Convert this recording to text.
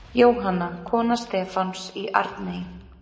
Jóhanna, kona Stefáns í Arney.